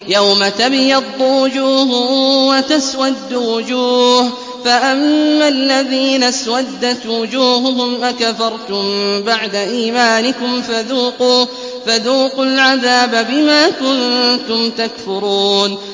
يَوْمَ تَبْيَضُّ وُجُوهٌ وَتَسْوَدُّ وُجُوهٌ ۚ فَأَمَّا الَّذِينَ اسْوَدَّتْ وُجُوهُهُمْ أَكَفَرْتُم بَعْدَ إِيمَانِكُمْ فَذُوقُوا الْعَذَابَ بِمَا كُنتُمْ تَكْفُرُونَ